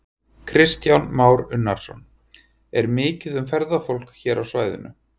Kristján Már Unnarsson: Er mikið um ferðafólk hér á svæðinu?